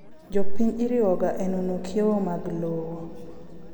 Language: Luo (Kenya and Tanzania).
Jopiny iriwoga enono kiewo mag lowo.